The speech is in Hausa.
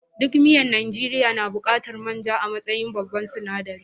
Duk miyan Najeriya na buƙatar man ja a matsayin babban sinaɗari.